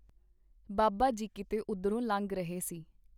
ਬਾਬਾ ਜੀ ਕੀਤੇ ਉਧਰੋਂ ਲੰਘ ਰਹੇ ਸੀ.